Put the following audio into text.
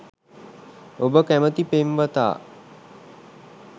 ඔබ කැමැති පෙම්වතා